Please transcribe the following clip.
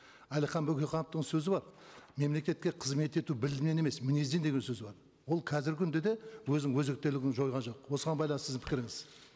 әлихан бөкейхановтың сөзі бар мемлекетке қызмет ету білімінен емес мінезден деген сөзі бар ол қазіргі күнде де өзінің өзектілігін жойған жоқ осыған байланысты сіздің пікіріңіз